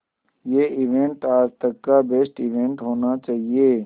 ये इवेंट आज तक का बेस्ट इवेंट होना चाहिए